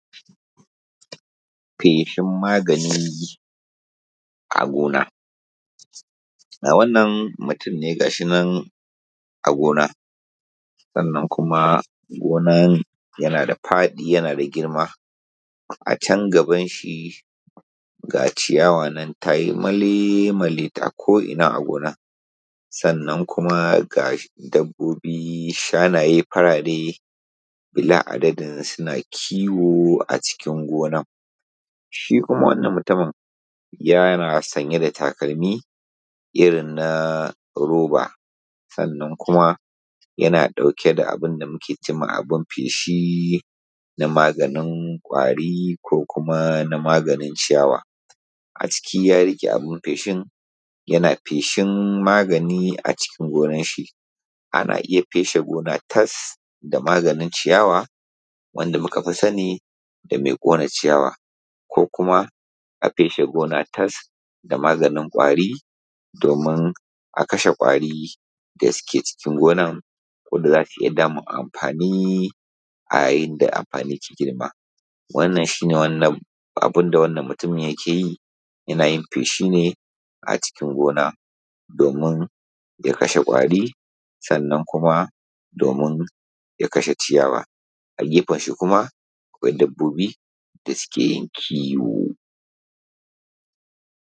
Feshin maganin a gona. Wannan mutunne ga shinan a gona sannan gonna ya nada faɗi ya nada girma, acan gaban shi ga ciyawa nan tayi male male a ko inna a gona. Sannan kuma ga dabbobi shanaye farare bila a daɗin suna kiwo a cikin gonna. Shi kuma wannan mutumin yana sanye da takalimi irrin na roba, sannan kuma ya ɗauke da abunda ake cema abun feshi na maganin kwari ko kuma na maganin ciyawa a ciki, ya rike abun feshin Yana feshin magani a cikin gonan shi. Ana iyya feshe gona tas da maganin ciyawa wanda mukafi sani da mai ƙone ciyawa ko kuma a feshe gona tas da maganin kwari domin a kashe kwari da suke cikin gonan wanda zasu iyya samun amfani a ya yinda amfani ta girma. Wannan shine abunda wannan mutumin ya keyi, ya nauyin feshin ne a cikin gona domin ya kashe kwari sannan kuma ya kashe ciyawa. A gefen shi kuma akwai dabbobi da suke kiwo.